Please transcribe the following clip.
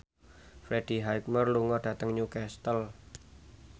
Freddie Highmore lunga dhateng Newcastle